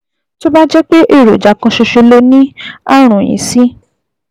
Tó bá jẹ́ pé èròjà kan ṣoṣo lo ní ààrùn yìí sí